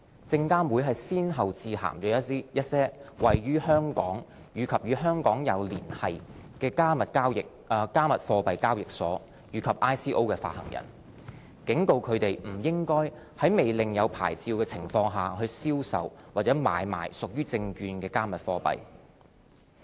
證監會先後致函一些位於香港或與香港有連繫的"加密貨幣"交易所及 ICO 發行人，警告它們不應在未領有牌照的情況下銷售或買賣屬於"證券"的"加密貨幣"。